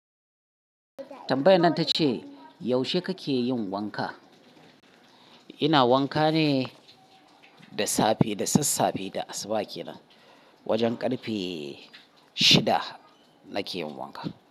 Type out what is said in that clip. Tambayan nan ta ce, yaushe kake yin wanka? Ina wanka ne da safe da sassafe da asuba ke nan. Wajen ƙarfe shida nake yin wanka.